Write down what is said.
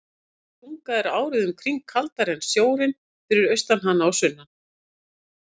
Þessi tunga er árið um kring kaldari en sjórinn fyrir austan hana og sunnan.